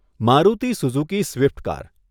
Maruti Suzuki Swift car.